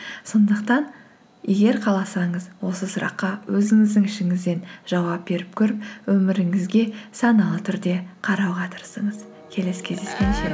сондықтан егер қаласаңыз осы сұраққа өзіңіздің ішіңізден жауап беріп көріп өміріңізге саналы түрде қарауға тырысыңыз келесі кездескенше